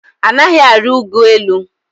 Anaghị arị ụgụ elu.